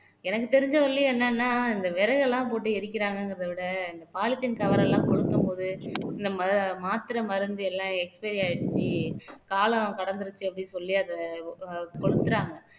எனக்கு தெரிஞ்ச வரையிலும் என்னன்னா இந்த விறகெல்லாம் போட்டு எரிக்கிறாங்கங்கிறத விட இந்த polythene cover எல்லாம் கொளுத்தும்போது நம்ம மாத்திரை மருந்து எல்லாம் expiry ஆயிடுச்சு கால காலம் கடந்துருச்சு அப்படின்னு சொல்லி அத கொளுத்துறாங்க